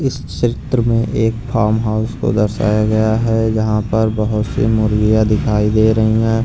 इस क्षेत्र में एक फार्म हाउस को दर्शाया गया है जहाँ पर बहुत सी मुर्गियाँ दिखाई दे रही हैं।